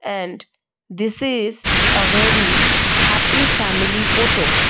and this is uh a very happy family photo.